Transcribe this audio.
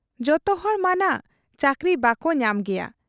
ᱡᱚᱛᱚᱦᱚᱲ ᱢᱟᱱᱷᱟᱜ ᱪᱟᱹᱠᱨᱤ ᱵᱟᱠᱚ ᱧᱟᱢ ᱜᱮᱭᱟ ᱾